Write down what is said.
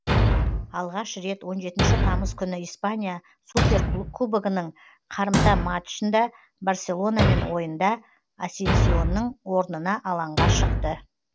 алғаш рет он жетінші тамыз күні испания суперкубогының қарымта матчында барселонамен ойында асенсионың орнына алаңға шықты